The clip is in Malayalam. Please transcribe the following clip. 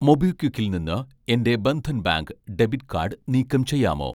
മൊബിക്വിക്കിൽ നിന്ന് എൻ്റെ ബന്ധൻ ബാങ്ക് ഡെബിറ്റ് കാഡ് നീക്കം ചെയ്യാമോ